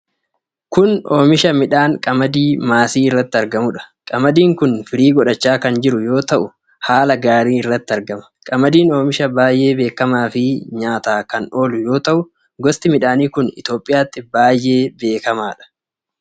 Kun oomisha midhaan qamadii maasii irratti argamuudha. Qamadiin kun firii godhachaa kan jiru yoo ta'u, haala gaarii irratti argama. Qamadiin oomisha baay'ee beekamaa fi nyaataa kan oolu yoo ta'u, gosti midhaanii kun Itoophiyaatti baay'ee beekamaadha.